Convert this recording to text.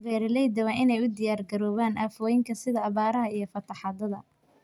Beeralayda waa in ay u diyaar garoobaan aafooyinka sida abaaraha iyo fatahaadaha.